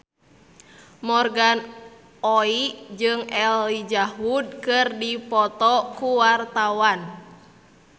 Morgan Oey jeung Elijah Wood keur dipoto ku wartawan